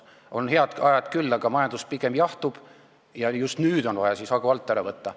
On head ajad küll, aga majandus pigem jahtub ja just nüüd on siis vaja hagu alt ära võtta.